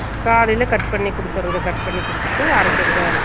காலைல cut பண்ணி குடுத்துறாது cut பண்ணி குடுத்துட்டு அறைக்குறது அறைச்சுட்டு